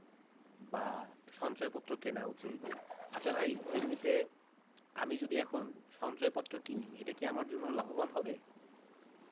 বা সঞ্চয়পত্র কিনা উচিত আচ্ছা ভাই এমনিতে আমি যদি এখন সঞ্চয়পত্র কিনিএটা কি আমার জন্য লাভ বান হবে